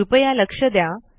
कृपया लक्ष द्या